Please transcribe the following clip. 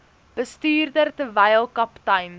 bestuurder terwyl kaptein